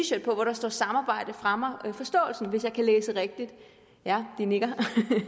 shirt på hvor der står samarbejde fremmer forståelsen hvis jeg kan læse rigtigt ja de nikker